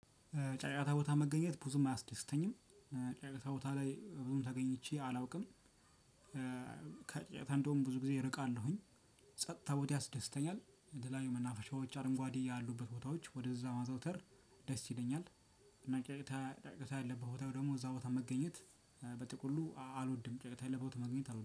ጫጫታ ቦታ መገኘት ብዙም አያስደስተኝም። ጫጫታ ቦታ ላይ ብዙም ተገኝቼ አላውቅም። ከጫጫታ እንደውም ብዙ ጊዜ እርቃለሁኝ። ጸጥታ ቦታ ያስደስተኛል። የተለያዩ መናፈሻዎች አረንጓዴ ያሉበት ቦታዎች ወደዛ ማዘውተር ደስ ይለኛል። እና ጫጫታ ጫጫታ ያለበት ቦታ ደግሞ እዛ ቦታ መገኘት በጥቁሉ አልወድም ጫጫታ ያለበት ቦታ መገኘት አልወድም